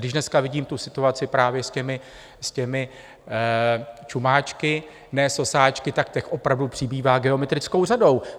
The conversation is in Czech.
Když dneska vidím tu situaci právě s těmi čumáčky, ne sosáčky, tak těch opravdu přibývá geometrickou řadou.